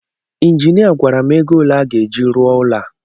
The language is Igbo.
Injinia gwara m ego ole a ga-eji rụọ ụlọ a